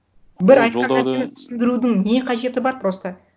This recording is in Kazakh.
бір айтқан нәрсені түсіндірудің не қажеті бар просто